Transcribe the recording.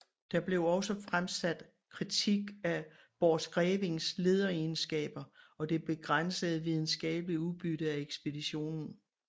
Der blev også fremsat kritik af Borchgrevinks lederegenskaber og det begrænsede videnskabelige udbytte af ekspeditionen